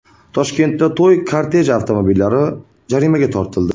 Toshkentda to‘y korteji avtomobillari jarimaga tortildi.